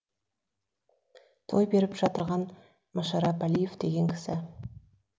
той беріп жатырған машарап әлиев деген кісі